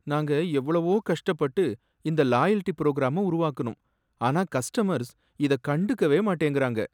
நாங்க எவ்ளோவோ கஷ்டப்பட்டு இந்த லாயல்டி புரோகிராம உருவாக்குனோம், ஆனா கஸ்டமர்ஸ் இத கண்டுக்கவே மாட்டேங்குறாங்க